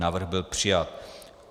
Návrh byl přijat.